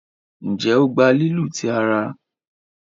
njé o gbà lílu tí àrà.